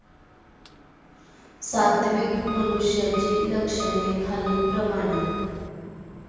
सात्विक मनुष्याची लक्षणे खालील प्रमाणे.